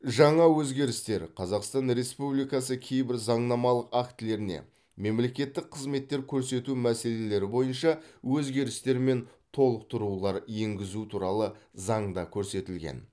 жаңа өзгерістер қазақстан республикасы кейбір заңнамалық актілеріне мемлекеттік қызметтер көрсету мәселелері бойынша өзгерістер мен толықтырулар енгізу туралы заңында көрсетілген